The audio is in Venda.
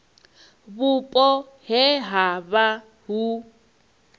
vhupo he ha vha hu